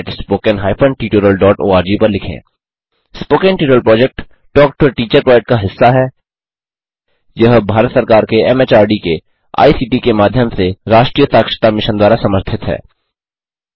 spoken tutorial project talk to a teacher project का हिस्सा हैयह भारत सरकार के एमएचआरडी के आईसीटी के माध्यम से राष्ट्रीय साक्षरता मिशन द्वारा समर्थित है